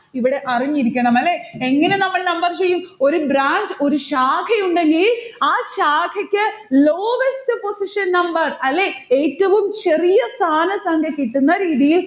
ഇവിടെ അറിഞ്ഞിരിക്കണം അല്ലെ. എങ്ങനെ നമ്മൾ number ചെയ്യും? ഒരു branch ഒരു ശാഖയുണ്ടെങ്കിൽ ആ ശാഖക്ക് lowest position number അല്ലെ? ഏറ്റവും ചെറിയ സ്ഥാന സംഖ്യ കിട്ടുന്നരീതിയിൽ